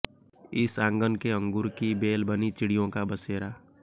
इस आंगन के अंगूर की बेल बनी चिडिय़ों का बसेरा